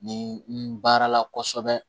Ni n baarala kosɛbɛ